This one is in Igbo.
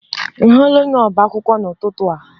Ị hụla onye ọba akwụkwọ n'ụtụtụ a?